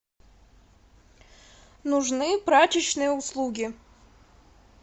нужны прачечные услуги